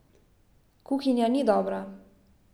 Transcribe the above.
Kuhinja ni dobra.